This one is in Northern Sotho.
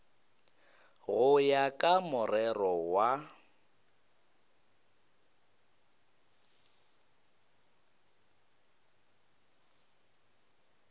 go ya ka morero wa